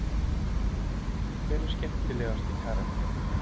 Hver er skemmtilegasti karakterinn?